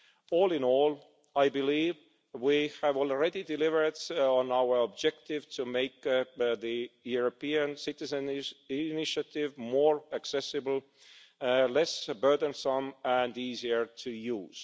All in all, I believe we have already delivered on our objective to make the European Citizens' Initiative more accessible, less burdensome and easier to use.